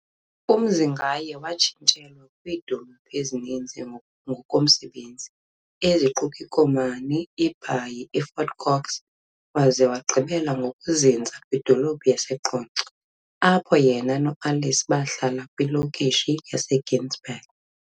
UMzingaye watshintshelwa kwiidolophu ezininzi ngokomsebenzi, eziquka iKomani, iBhayi, iFort Cox waze wagqibela ngokuzinza kwidolophu yaseQonce apho yena noAlice bahlala kwilokishi yaseGinsberg.